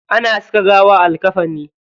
Ana saka gawa a likkafani.